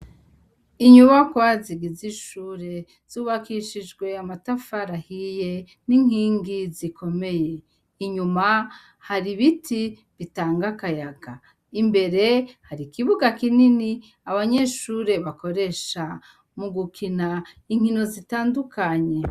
Inyubakwa zigize ishure zubakishijwe amatafari ahiye n'inkingi zikomeye, Inyuma hari ibiti bitanga akayaga, Imbere hari ikibuga kinini abanyeshure bakoresha mugukina inkino zitandukanye